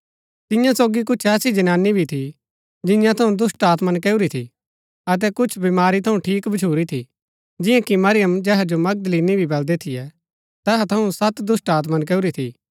तियां सोगी कुछ ऐसी जनानी भी थी जियां थऊँ दुष्‍टात्मा नकैऊरी थी अतै कुछ बीमारी थऊँ ठीक भच्छुरी थी जियां कि मरियम जेहा जो मगदलीनी भी बलदै थियै तैहा थऊँ सत दुष्‍टात्मा नकैऊरी थी